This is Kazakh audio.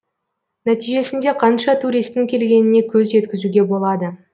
нәтижесінде қанша туристің келгеніне көз жеткізуге болады